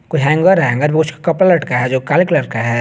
कोई हैंगर है हैंगर पे कुछ कपड़ा लटका है जो काले कलर का है।